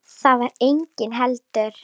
Þar var enginn heldur.